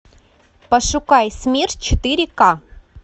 пошукай смерч четыре ка